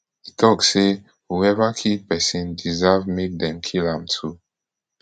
e tok say whoever kill pesin deserve make dem kill am too